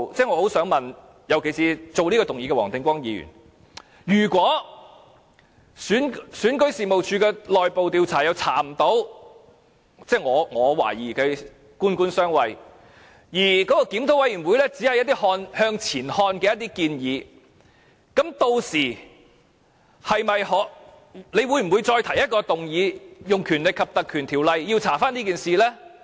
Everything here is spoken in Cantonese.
我很想問，尤其是提出這項議案的黃定光議員，如果選舉事務處的內部調查沒有甚麼結果——我懷疑是"官官相衞"——而檢討委員會只提出一些向前看的建議，屆時他會否再提出議案，用《立法會條例》調查這件事呢？